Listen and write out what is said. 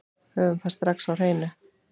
Höfum það strax á hreinu.